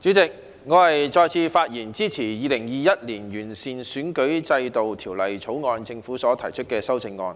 代理主席，我再次發言支持政府在《2021年完善選舉制度條例草案》中提出的修訂。